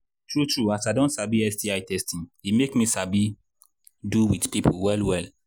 true true as i don sabi sti testing e make me sabi do with people well well